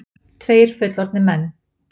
Tveir fullorðnir menn.